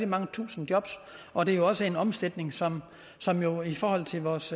mange tusinde jobs og det er også en omsætning som som jo i forhold til vores